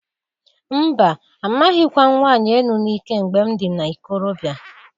Mba! Amaghịkwa m nwanyị enu n'ike mgbe m dị na ikorobịa.